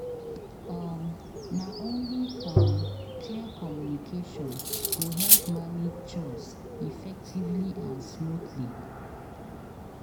um Na only um clear communication go help manage chores effectively and smoothly.